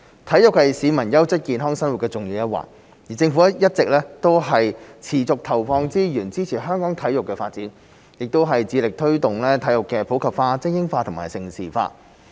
體育是市民優質健康生活的重要一環，而政府一直持續投放資源，支持香港的體育發展，亦致力推動體育的普及化、精英化和盛事化。